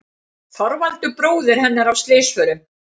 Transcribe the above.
Þorvaldur bróðir hennar af slysförum.